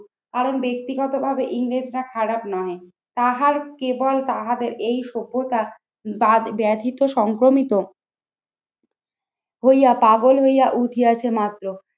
কারণ ব্যক্তিগতভাবে ইংরেজরা খারাপ নয়। তাহাড় কেবল তাহাদের এই সভ্যতা দাঁত ব্যাধিত সংক্রমিত হইয়া পাগল হইয়া উঠিয়াছে মাত্র।